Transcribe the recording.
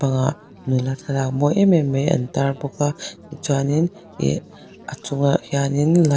ahh nula thlalak mawi em em an tar bawk a chuanin ih a chungah hianin ligh--